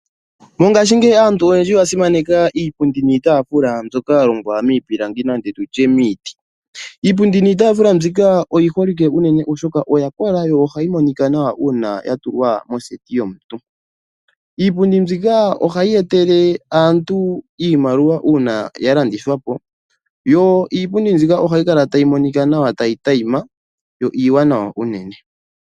Mongashingeyi aantu oyendji oya simaneka iipundi niitaafula mbyoka ya longwa miipilangi nenge tu tye miiti. Iipundi niitaafula mbika oyi holike unene, oshoka oya kola yo ohayi monika nawa uuna ya tulwa moseti yomuntu. Iipundi mbika ohayi etele aantu iimaliwa uuna ya landithwa po, yo iipundi mbika ohayi kala tayi monika nawa tayi tayima yo iiwanawa unene.